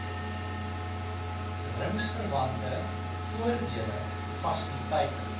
ringsverwante voordele fasiliteite